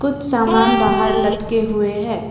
कुछ सामान बाहर लटके हुए हैं।